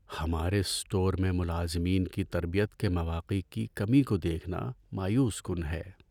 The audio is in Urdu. ہمارے اسٹور میں ملازمین کی تربیت کے مواقع کی کمی کو دیکھنا مایوس کن ہے۔